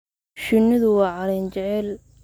Shinnidu waa caleen jecel.